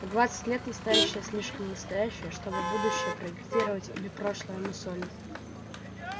в двадцать лет настоящее слишком настоящее чтобы будущее проектировать или прошлое мусолить